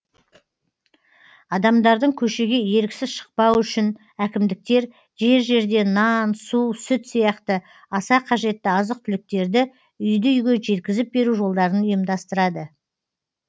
адамдардың көшеге еріксіз шықпауы үшін әкімдіктер жер жерде нан су сүт сияқты аса қажетті азық түліктерді үйді үйге жеткізіп беру жолдарын ұйымдастырады